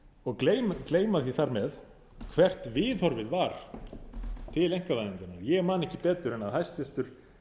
og gleyma því þar með hvert viðhorfið var til einkavæðingarinnar ég man ekki betur en að hæstvirtur